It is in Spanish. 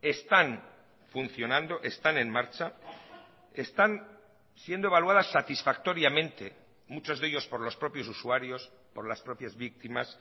están funcionando están en marcha están siendo evaluadas satisfactoriamente muchos de ellos por los propios usuarios por las propias víctimas